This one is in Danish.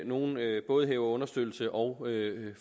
nogle både hæver understøttelse og